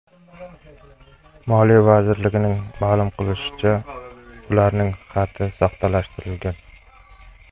Moliya vazirligining ma’lum qilishicha , ularning xati soxtalashtirilgan.